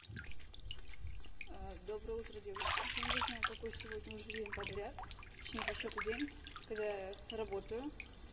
доброе утро девочки я не знаю какой сегодня уже день подряд точнее по счёту день когда я работаю